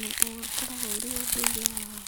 na ũkoragwo ũrĩ ũndũire wao.